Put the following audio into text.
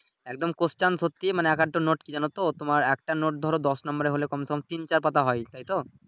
একদম Question সত্যি মানে এক একটা নোট কি জানতো তোমার একটা নোট ধরো দশ নম্বরের হলে কমছে কম তিন চার পাতা হয় তাইতো